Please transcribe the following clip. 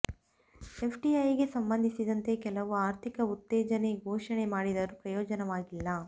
F ಡಿಐಗೆ ಸಂಬಂಧಿಸಿದಂತೆ ಕೆಲವು ಆರ್ಥಿಕ ಉತ್ತೇಜನೆ ಘೋಷಣೆ ಮಾಡಿದರೂ ಪ್ರಯೋಜನವಾಗಿಲ್ಲ